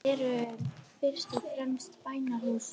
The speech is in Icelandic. Moskur eru fyrst og fremst bænahús.